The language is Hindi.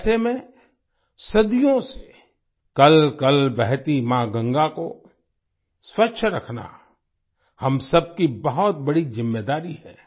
ऐसे में सदियों से कलकल बहती माँ गंगा को स्वच्छ रखना हम सबकी बहुत बड़ी जिम्मेदारी है